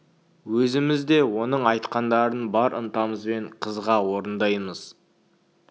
өзіміз де оның айтқандарын бар ынтамызбен қызыға орындаймыз